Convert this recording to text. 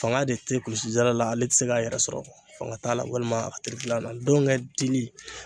Faŋa de te kulisijala la, ale ti se k'a yɛrɛ sɔrɔ, faŋa t'a la walima a terikila nɔ ndɔŋɛ dili